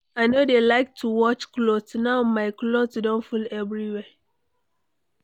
I no dey like to watch cloth. Now, my cloth don full everywhere.